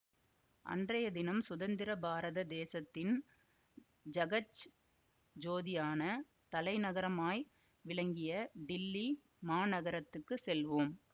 அன்றைய தினம் சுதந்திர பாரத தேசத்தின் ஜகஜ் ஜோதியான தலைநகரமாய் விளங்கிய டில்லி மாநகரத்துக்குச் செல்வோம்